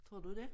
Tror du dét?